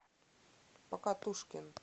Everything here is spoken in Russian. покатушкин